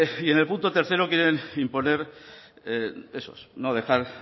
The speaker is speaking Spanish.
y en el punto tercero quieren imponer esos no dejar